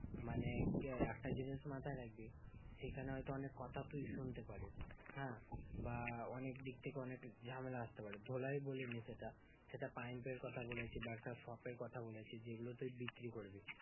মানে কি হয় একটা জিনিস মাথায় রাখবি, সেখানে হয়তো অনেক কথা তুই শুনতে পারিস হ্যাঁ? বা অনেক দিক থেকে অনেক ঝামেলা আসতে পারে। ধোলাই বলিনি সেটা সেটা pump এর কথা বলেছি বা একটা shop এর কথা বলেছি যেগুলো তুই বিক্রি করবি।